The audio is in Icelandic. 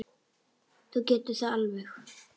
Þú getur það alveg.